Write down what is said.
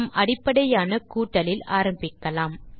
நாம் அடிப்படையான கூட்டலில் ஆரம்பிக்கலாம்